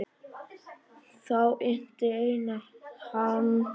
Þá innti Einar hann frétta.